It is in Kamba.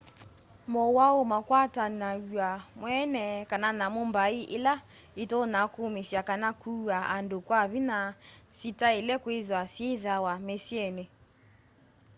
mowau makwatanaw'a mweene kana nyamu mbai ila itonya kuumisya kana kuaa andu kya vinya sitaile kwithwa syiithaw'a misyini